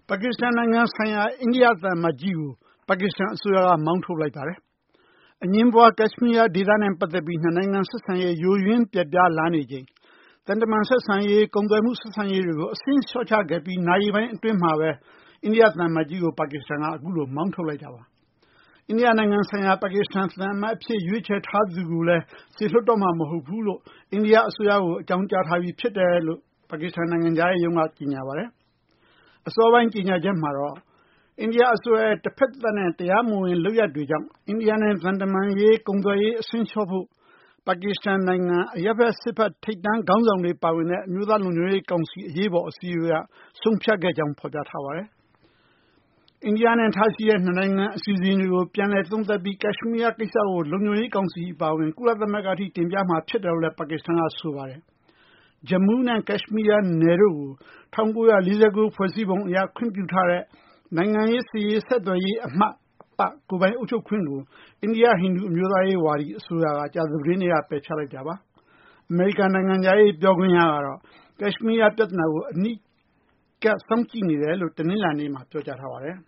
ပါကစ္စတန် နိုင်ငံဆိုင်ရာ အိန္ဒိယ သံအမတ်ကြီးကို ပါကစ္စတန် အစိုးရက မောင်းထုတ်လိုက်ပါတယ်။ အငြင်းပွား ကက်ရှမီးယား ဒေသနဲ့ ပတ်သက်ပြီး နှစ်နိုင်ငံ ဆက်ဆံရေး ယိုယွင်း ပျက်ပြားလာနေချိန် သံတမန် ဆက်ဆံရေး၊ ကုန်သွယ်မှု ဆက်ဆံရေးတွေကို အဆင့် လျှော့ချခဲ့ပြီး နာရီပိုင်းအတွင်းမှာဘဲ အိန္ဒိယ သံအမတ်ကြီးကို ပါကစ္စတန်က အခုလို မောင်းထုတ်လိုက်တာပါ။ အိန္ဒိယ နိုင်ငံဆိုင်ရာ ပါကစ္စတန် သံအမတ် အဖြစ် ရွေးချယ်ထားသူကိုလည်း စေလွှတ်တော့မှာ မဟုတ်ဘူးလို့ အိန္ဒိယ အစိုးရကို အကြောင်းကြားထားပြီး ဖြစ်တယ်လို့ ပါကစ္စတန် နိုင်ငံခြားရေးရုံးက ကြေညာပါတယ်။ အစောပိုင်း ကြေညာချက်မှာတော့ အိန္ဒိယ အစိုးရရဲ့ တဖက်သတ်နဲ့ တရားမဝင် လုပ်ရပ်တွေကြောင့် အိန္ဒိယနဲ့ သံတမန်ရေး ကုန်သွယ်ရေး အဆင့်လျှော့ဖိ့ု ပါကစ္စတန် နိုင်ငံ အရပ်ဘက် စစ်ဘက် ထိပ်တန်း နိုင်ငံရေး ခေါင်းဆောင်တွေ ပါဝင်တဲ့ အမျိုးသား လုံခြုံရေး ကောင်စီ အရေးပေါ် အစည်းအဝေးက ဆုံးဖြတ်ခဲ့ကြောင်း ဖော်ပြခဲ့ပါတယ်။ အိန္ဒိယနဲ့ ထားရှိတဲ့ ၂ နိုင်ငံ အစီအစဉ်တွေကို ပြန်လည် သုံးသပ်ပြီး ကက်ရှမီးယား ကိစ္စကို လုံခြုံရေး ကောင်စီ အပါအဝင် ကုလသမဂ္ဂ အထိ တင်ပြမှာ ဖြစ်တယ်လို့လည်း ပါကစ္စတန်က ဆိုပါတယ်။ ဂျမူးနဲ့ ကက်ရှမီးယား နယ်တို့ကို ၁၉၄၉ ဖွဲ့စည်းပုံ အရ ခွင့်ပြုထားတဲ့ နိုင်ငံရေး စစ်ရေး ဆက်သွယ်ရေးမှ အပ ကိုယ်ပိုင်အုပ်ချုပ်ခွင့်ကို အိန္ဒိယ ဟိန္ဒူ အမျိုးသားရေး ဝါဒီ အစိုးရက ကြာသပတေးနေ့က ပယ်ဖျက်လိုက်တာပါ။ အမေရိကန် နိုင်ငံခြားရေး ပြောခွင့်ရကတော့ ကက်ရှမီးယား ပြသနာကို အနီးကပ် စောင့်ကြည့်နေတယ်လို့ တနလာၤနေ့မှာ ပြောကြားထားပါတယ်